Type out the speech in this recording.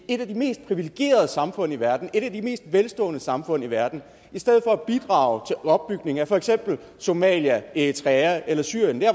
et af de mest privilegerede samfund i verden et af de mest velstående samfund i verden i stedet for at bidrage til opbygningen af for eksempel somalia eritrea eller syrien der